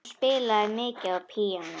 Hún spilaði mikið á píanó.